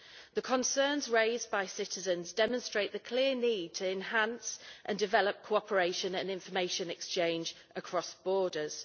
The concerns raised by citizens demonstrate the clear need to enhance and develop cooperation and information exchange across borders.